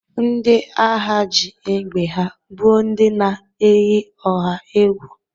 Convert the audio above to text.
Ndị agha ji egbe ha gbụọ ndị na-eyi ọha egwu.